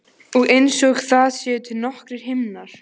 Og einsog það séu til nokkrir himnar.